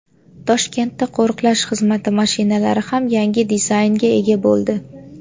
Toshkentda qo‘riqlash xizmati mashinalari ham yangi dizaynga ega bo‘ldi.